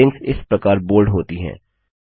headings इस प्रकार bold होती हैं